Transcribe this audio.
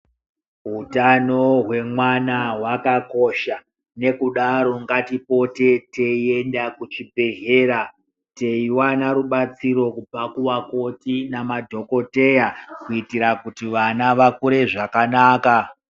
Utano hwemwana hwakakosha nekudare ngatipote teiende kuchibhehleya teiwana rubatsiro kubva kuvakoto nemadhokodheya kuti vana vakure zvakanaka.